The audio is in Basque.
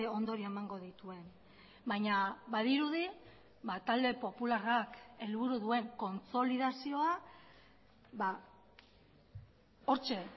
ondorio emango dituen baina badirudi talde popularrak helburu duen kontsolidazioa hortxe